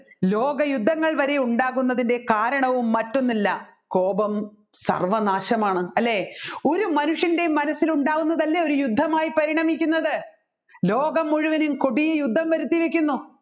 ലോകയുദ്ധങ്ങൾ വരെ ഉണ്ടാകുന്നതിൻെറ കാരണവും മറ്റൊന്നല്ല കോപം സർവ്വനാശമാണ് അല്ലെ ഒരു മനുഷ്യൻെറ മനസ്സിൽ ഉണ്ടാക്കുന്നതല്ലേ ഒരു യുദ്ധമായി പരിണമിക്കുന്നത് ലോകം മുഴുവൻ കൊടിയ യുദ്ധം വരുത്തിവെക്കുന്നു